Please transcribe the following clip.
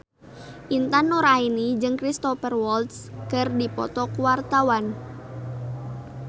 Intan Nuraini jeung Cristhoper Waltz keur dipoto ku wartawan